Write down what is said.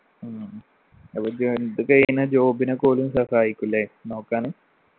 ഉം ഇത് കഴിഞ്ഞാ job നൊക്കെ ഓലും സഹായിക്കുല്ലേ നോക്കാന്